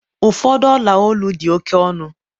ụfọdụ olu dị ọla oke ọnụ